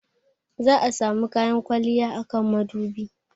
Za'a samu kayan kwalliya a kan madubi.